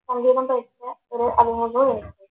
സംഗീതം പഠിച്ച ഒരു